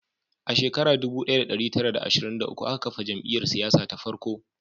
A shekara dubu daya da dari tara da ashirin da uku aka kafa jam'iyyar siyasa ta farko